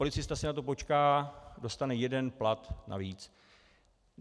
Policista si na to počká, dostane jeden plat navíc.